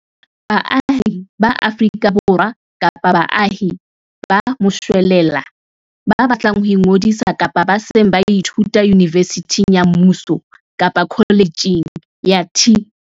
Baahi ba Afrika Borwa kapa baahi ba moshwelella ba batlang ho ingodisa kapa ba seng ba ithuta yunivesithing ya mmuso kapa kholetjheng ya TVET.